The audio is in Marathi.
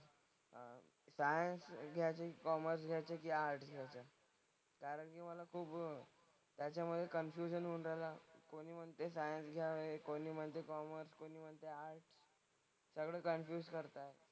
सायन्स घ्यायचं, कॉमर्स घ्यायचं की आर्टस् घ्यायचं. कारण की मला खूप त्याच्यामधे कन्फ्युजन होतं ना. कोणी म्हणते सायन्स घ्यावे, कोणी म्हणते कॉमर्स, कोणी म्हणतंय आर्टस्. सगळे कन्फ्युज करतात.